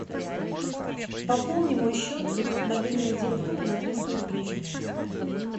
пополни мой счет мобильного телефона на триста рублей